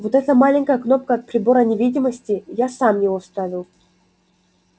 вот эта маленькая кнопка от прибора невидимости я сам его вставил